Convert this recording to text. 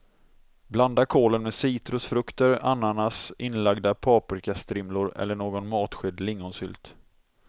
Blanda kålen med citrusfrukter, ananas, inlagda paprikastrimlor eller någon matsked lingonsylt.